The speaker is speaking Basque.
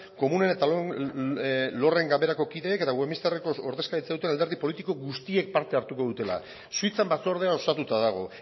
komunen eta lorden ganberako kideek eta westminster ordezkaritza duten alderdi politiko guztiek parte hartuko dutela suitzan batzordea osatuta dago